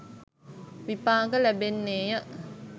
විපාක ලැබෙන්නේ ය.